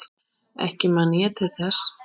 Ekki man ég til þess.